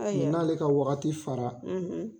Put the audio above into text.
n'ale ka wagati fara